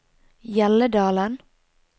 Hjelledalen